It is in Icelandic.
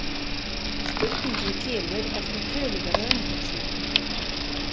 Spurningin kemur eftir töluverða umhugsun.